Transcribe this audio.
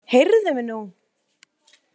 Heyrðu mig nú!